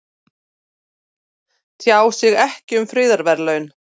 Tjá sig ekki um friðarverðlaun